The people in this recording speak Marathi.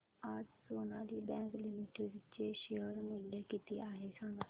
आज सोनाली बँक लिमिटेड चे शेअर मूल्य किती आहे सांगा